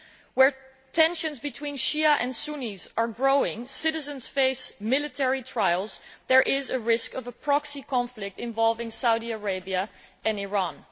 Where tensions between Shia and Sunnis are growing and citizens face military trials, there is a risk of a proxy conflict involving Saudi Arabia and Iran.